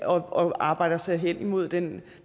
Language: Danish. og arbejder sig hen imod den